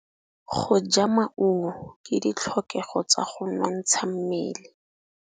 Go ja maungo ke ditlhokegô tsa go nontsha mmele.